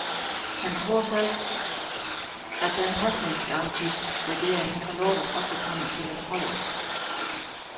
Han tror selv, at den pasningsgaranti, regeringen har lovet, også kommer til at holde.